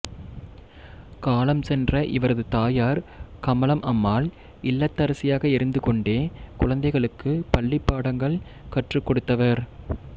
காலம் சென்ற இவரது தாயார் கமலம் அம்மாள் இல்லத்தரசியாக இருந்து கொண்டே குழந்தைகளுக்கு பள்ளிப்பாடங்கள் கற்றுக் கொடுத்தவர்